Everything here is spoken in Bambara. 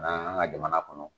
anw ka jamana kɔnɔ.